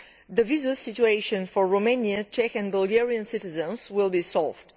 the visa situation for Romanian, Czech and Bulgarian citizens will be resolved.